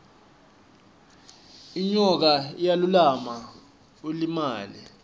inyoka iyalumana ulimale